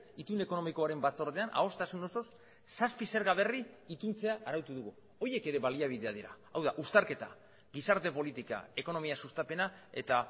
itun ekonomikoaren batzordean adostasun osoz zazpi zerga berri ituntzea arautu dugu horiek ere baliabideak dira hau da uztarketa gizarte politika ekonomia sustapena eta